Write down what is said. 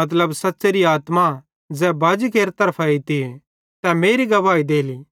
मतलब सच़्च़ेरी आत्मा ज़ै बाजी केरि तरफां एइतीए तै मेरी गवाही देली